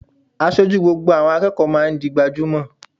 Aṣojú àwọn akẹ́kọ̀ọ́ máa ń di gbajúmò.